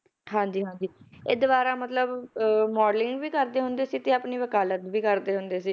ਹਾਂਜੀ ਹਾਂਜੀ ਇਹ ਦੁਬਾਰਾ ਮਤਲਬ ਅਹ modeling ਵੀ ਕਰਦੇ ਹੁੰਦੇ ਸੀ ਤੇ ਆਪਣੀ ਵਕਾਲਤ ਵੀ ਕਰਦੇ ਹੁੰਦੇ ਸੀ,